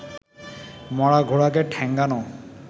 মরা ঘোড়াকে ঠ্যাঙানো